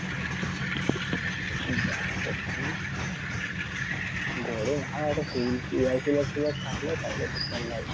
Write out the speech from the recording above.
গরমে হাওয়াটা টেবিল একটা air collar ফুলার থাকতো তাহলে একটু কম লাগতো